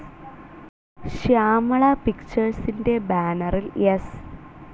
ശ്യാമള പിക്ച്ചേഴ്സിൻ്റെ ബാനറിൽ എസ്.